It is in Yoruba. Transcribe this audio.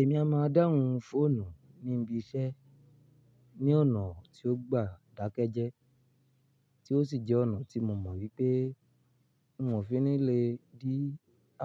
Èmi a máa dáhùn fóònù ní ibi iṣẹ́ ní ọ̀nà tí ó gba ìdákẹ́jẹ́, tí ó sì jẹ́ ọ̀nà tí mo mọ̀ wípé wọn ò fi ní lè dí